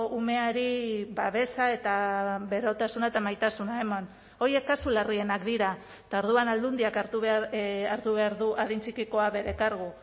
umeari babesa eta berotasuna eta maitasuna eman horiek kasu larrienak dira eta orduan aldundiak hartu hartu behar du adin txikikoa bere kargu